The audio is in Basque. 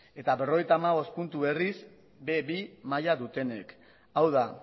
eta berrogeita hamar puntu berriz be bi maila dutenek hau da